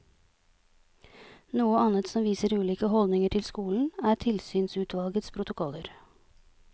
Noe annet som viser ulike holdninger til skolen, er tilsynsutvalgenes protokoller.